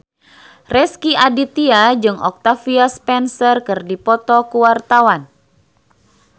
Rezky Aditya jeung Octavia Spencer keur dipoto ku wartawan